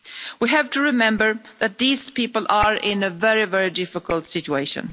We have to remember that these people are in a very, very difficult situation.